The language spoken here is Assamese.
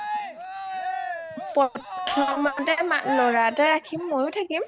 প্ৰথমতে লৰা এটা ৰাখিম, মইয়ো থাকিম